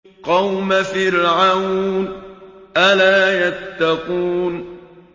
قَوْمَ فِرْعَوْنَ ۚ أَلَا يَتَّقُونَ